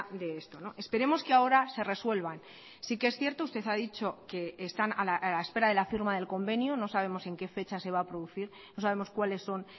de esto esperemos que ahora se resuelvan sí que es cierto usted ha dicho que están a la espera de la firma del convenio no sabemos en qué fecha se va a producir no sabemos cuáles son